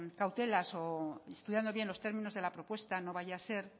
cautelas o estudiando bien los términos de la propuesta no vaya a ser